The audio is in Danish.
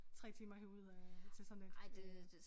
3 timer at hive ud af til sådan et øh